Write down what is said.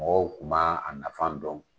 Mɔgɔw kuma a nafan dɔn.